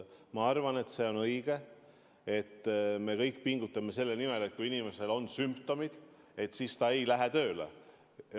Ma arvan, et see on õige, et me kõik pingutame selle nimel, et kui inimesel on sümptomid, siis ta ei lähe tööle.